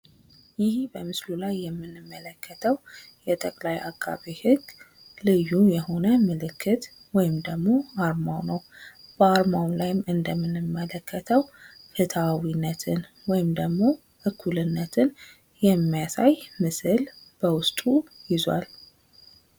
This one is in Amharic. ይህ በምስሉ ላይ የምንመለከተው የጠቅላይ አቃቢ ህግ ልዩ የሆነ ምልክት ወይም ደሞ አርማው ነው። በአርማው ላይም እንደምንመለከተው ፍትሀዊነትን ወይም ደሞ እኩልነትን የሚያሳይ ምስል በውስጡ ይዟል።